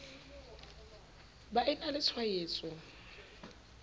ba e na le tshwaetso